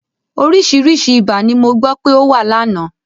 Oríṣiríṣi ibà ni mo gbọ́ pé ó wà lánàá.